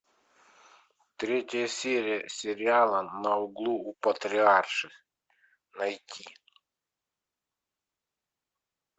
третья серия сериала на углу у патриарших найти